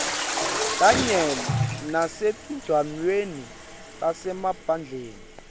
kanye nasetindzaweni tasemaphandleni